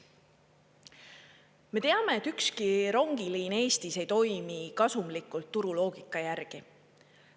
Me teame, et ükski rongiliin Eestis ei toimi kasumlikult turuloogika järgi.